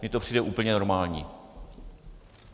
Mně to přijde úplně normální.